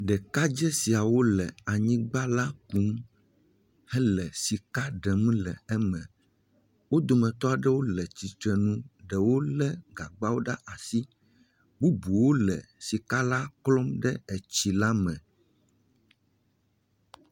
ɖekadzɛ siawo le anyigbã la kum hele sika ɖem le eme, wó dometɔ ɖewo le atsitsrenu ɖewó le gagbawo ɖe asi bubuwo le sika la klom ɖe etsi la me